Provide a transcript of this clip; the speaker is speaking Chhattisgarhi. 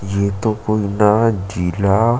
ये तो कोई ना जिला--